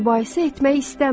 Mübahisə etmək istəmirəm.